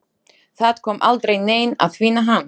Það kom aldrei neinn að finna hann.